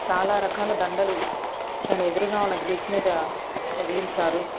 చాలా రకాల దండలు దాని ఎదురుగా ఉన్న గ్రిల్స్ మీద తగిలించారు.